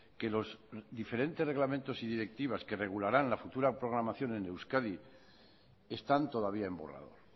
que los diferentes reglamentos y directivas que regularán la futura programación en euskadi están todavía en borrador